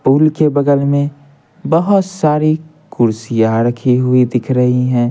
पुल के बगल में बहुत सारी कुर्सियां रखी हुई दिख रही हैं।